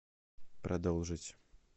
продолжить